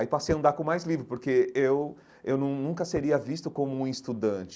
Aí passei a andar com mais livro, porque eu eu nun nunca seria visto como um estudante.